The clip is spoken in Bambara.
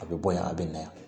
A bɛ bɔ yen a bɛ na yan